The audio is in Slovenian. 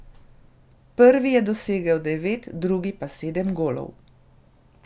Prvi je dosegel devet, drugi pa sedem golov.